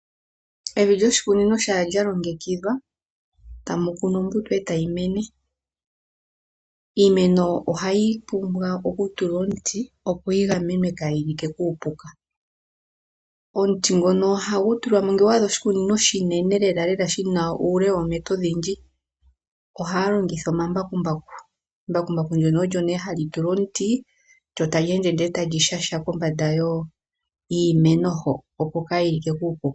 Evi lyoshikukunino shampa lyalongekidhwa tamu kunwa ombuto ndele tayi mene. Iimeno ohayi pumbwa okutulwa omuti opo yigamenwe kayi like kuupuka. Omuti ngono ohagu tulwamo, ngele owa adha oshikunino oshinene lela lela shina uule woometa odhindji, ohaya longitha omambakumbaku. Mbakumbaku lyo nee hali tulwa omuti lyo tali ende nee tali shashamine kombanda yiimeno hoka opo kayi like kuupuka.